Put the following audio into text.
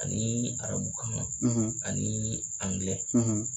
Ani arabukan ani